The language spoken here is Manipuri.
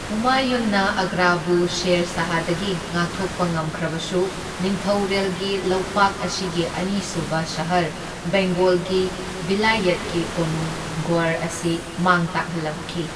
ꯍꯨꯃꯥꯌꯨꯟꯅ ꯑꯥꯒ꯭ꯔꯥꯕꯨ ꯁꯦꯔ ꯁꯥꯍꯗꯒꯤ ꯉꯥꯛꯊꯣꯛꯄ ꯉꯝꯈ꯭ꯔꯕꯁꯨ, ꯅꯤꯡꯊꯧꯔꯦꯜꯒꯤ ꯂꯧꯄꯥꯛ ꯑꯁꯤꯒꯤ ꯑꯅꯤꯁꯨꯕ ꯁꯍꯔ, ꯕꯦꯡꯒꯣꯜꯒꯤ ꯚꯤꯂꯥꯌꯠꯀꯤ ꯀꯣꯅꯨꯡ ꯒꯧꯔ ꯑꯁꯤ ꯃꯥꯡ ꯇꯥꯛꯍꯜꯂꯝꯈꯤ꯫